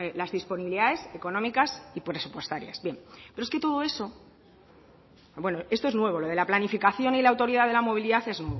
las disponibilidades económicas y presupuestarias bueno esto es nuevo lo de la planificación y la autoridad de la movilidad es